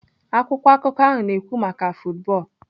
Akwụkwọ akụkọ ahụ na-ekwu maka football.